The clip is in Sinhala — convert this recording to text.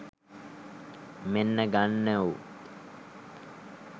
මෙන්න ගන්නවො